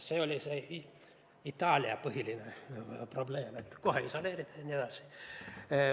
See oli Itaalia põhiline probleem, et kohe isoleerida jne.